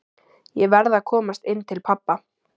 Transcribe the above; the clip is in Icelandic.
Ég verð að komast inn til pabba.